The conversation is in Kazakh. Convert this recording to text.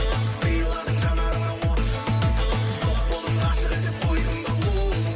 сыйладың жанарыма от жоқ болдың ғашық етіп қойдың да оу